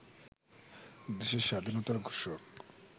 দেশের স্বাধীনতার ঘোষক